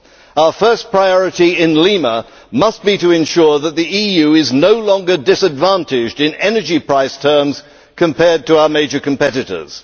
Our first priority in Lima must be to ensure that the EU is no longer disadvantaged in terms of energy prices compared with our major competitors.